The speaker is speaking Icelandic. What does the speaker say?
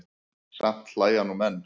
Samt hlæja nú menn.